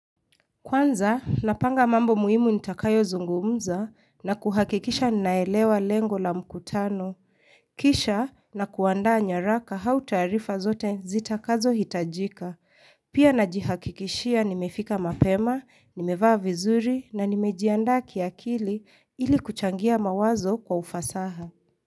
Kwanza, napanga mambo muhimu nitakayo zungumza na kuhakikisha naelewa lengo la mkutano. Kisha nakuandaa nyaraka au taarifa zote zitakazo hitajika. Pia najihakikishia nimefika mapema, nimevaa vizuri na nimejiandaa kiakili ili kuchangia mawazo kwa ufasaha.